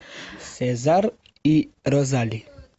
сезар и розали